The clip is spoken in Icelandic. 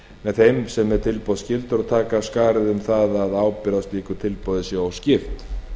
með þeim sem er tilboðsskyldur og taka af skarið um það að ábyrgð á slíku tilboði sé óskipt